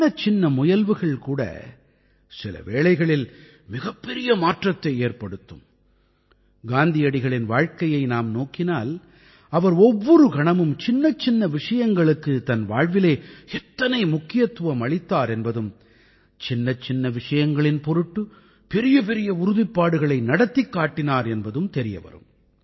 சின்னச்சின்ன முயல்வுகள் கூட சில வேளைகளில் மிகப்பெரிய மாற்றத்தை ஏற்படுத்தும் காந்தியடிகளின் வாழ்க்கையை நாம் நோக்கினால் அவர் ஒவ்வொரு கணமும் சின்னச்சின்ன விஷயங்களுக்குத் தனது வாழ்விலே எத்தனை முக்கியத்துவம் அளித்தார் என்பதும் சின்னச்சின்ன விஷங்களின் பொருட்டு பெரியபெரிய உறுதிப்பாடுகளை நடத்திக் காட்டினார் என்பதும் தெரிய வரும்